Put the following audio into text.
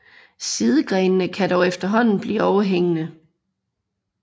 Sidegrenene kan dog efterhånden blive overhængende